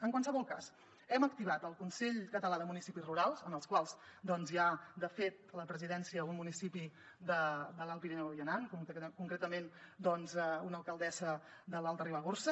en qualsevol cas hem activat el consell català de municipis rurals en el qual hi ha de fet a la presidència un municipi de l’alt pirineu i aran concretament una alcaldessa de l’alta ribagorça